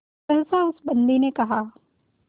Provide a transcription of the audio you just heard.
सहसा उस बंदी ने कहा